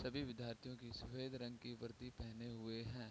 सभी विद्यार्थियों की सफेद रंग की वर्दी पहने हुए है।